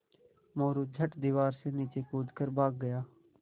मोरू झट दीवार से नीचे कूद कर भाग गया